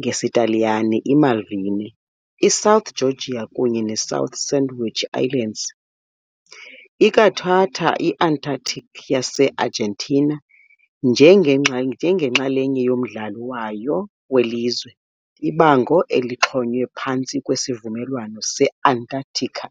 ngesiTaliyane iMalvine, iSouth Georgia kunye neSouth Sandwich Islands. Ikwathatha i-Antarctica yase-Argentina njengenxalenye yommandla wayo welizwe, ibango elixhonywe phantsi kweSivumelwano se-Antarctica.